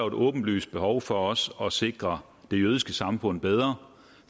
et åbenlyst behov for at sikre sikre det jødiske samfund bedre